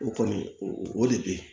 O kɔni o de be yen